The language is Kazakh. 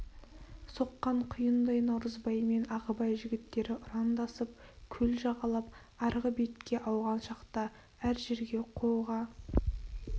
соққан құйындай наурызбай мен ағыбай жігіттері ұрандасып көл жағалап арғы бетке ауған шақта әр жерге қоға